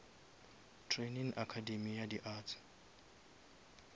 training academay ya di arts